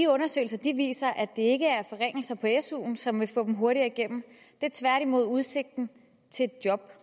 undersøgelse viser at det ikke er forringelser af suen som vil få dem hurtigere igennem det er tværtimod udsigten til et job